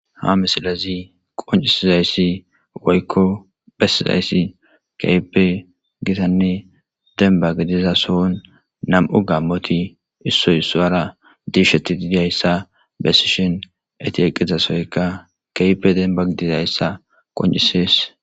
Ha misilezi qoncisizayssi woykko bessizayssi keype gitanne demba gidiza sohon nam'u gammoti issoy suwara diisheti didiayssa bessishin eti eqqizasoyka keype demba gidizayssa qoncisees.